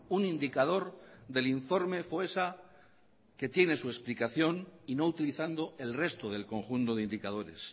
un indicador del informe foessa que tiene su explicación y no utilizando el resto del conjunto de indicadores